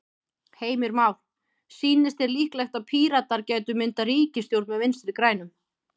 Heimir Már: Sýnist þér líklegt að Píratar gætu myndað ríkisstjórn með Vinstri-grænum?